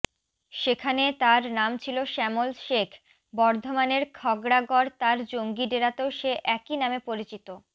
সেখানে তার নাম ছিল শ্যামল শেখ বর্ধমানের খাগড়াগড় তার জঙ্গি ডেরাতেও সে একই নামে পরিচিত